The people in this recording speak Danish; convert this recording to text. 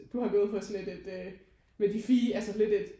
Du har gået på sådan et et med de fine altså lidt et